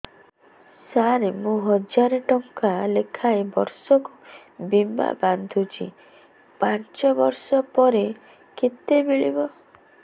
ସାର ମୁଁ ହଜାରେ ଟଂକା ଲେଖାଏଁ ବର୍ଷକୁ ବୀମା ବାଂଧୁଛି ପାଞ୍ଚ ବର୍ଷ ପରେ କେତେ ମିଳିବ